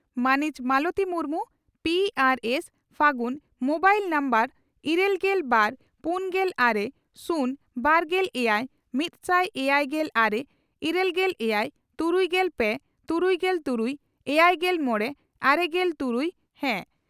᱾ᱢᱟᱹᱱᱤᱡ ᱢᱟᱞᱚᱛᱤ ᱢᱩᱨᱢᱩ, ᱾ᱯᱹᱟᱨ ᱥᱹ, ᱯᱷᱟᱹᱜᱩᱱ ᱾ᱢᱚᱵᱟᱭᱤᱞ ᱱᱟᱢᱵᱟᱨ ᱤᱨᱟᱹᱞᱜᱮᱞ ᱵᱟᱨ ᱯᱩᱱᱜᱮᱞ ᱟᱨᱮ ,ᱥᱩᱱ ,ᱵᱟᱨᱜᱮᱞ ᱮᱭᱟᱭ ,ᱢᱤᱛᱥᱟᱭ ᱮᱭᱟᱭᱜᱮᱞ ᱟᱨᱮ ,ᱤᱨᱟᱹᱞᱜᱮᱞ ᱮᱭᱟᱭ ,ᱛᱩᱨᱩᱭᱜᱮᱞ ᱯᱮ ,ᱛᱩᱨᱩᱭᱜᱮᱞ ᱛᱩᱨᱩᱭ ,ᱮᱭᱟᱭᱜᱮᱞ ᱢᱚᱲᱮ ,ᱟᱨᱮᱜᱮᱞ ᱛᱩᱨᱩᱭ (ᱦᱟᱹ)